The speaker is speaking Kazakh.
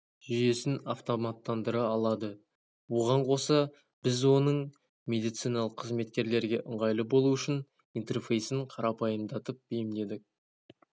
жүйесін автоматтандыра алады оған қоса біз оның медициналық қызметкерлерге ыңғайлы болуы үшін интерфейсін қарапайымдатып бейімдедік